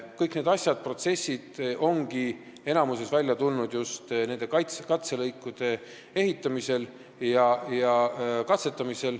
Kõik need protsessid ongi enamikus välja tulnud just katselõikude abil.